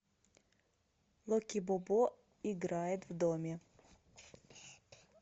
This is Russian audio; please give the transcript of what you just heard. локи бобо играет в доме